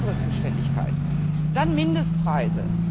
Das ist nicht unsere Zuständigkeit. Dann Mindestpreise.